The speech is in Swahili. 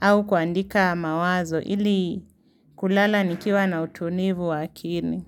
au kuandika mawazo ili kulala nikiwa na utulivu wa akili.